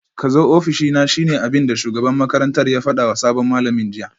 Kazo ofishina shine abinda shugaban makarantar ya fadawa sabon malamin jiya